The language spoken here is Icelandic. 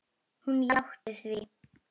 Hún játti því.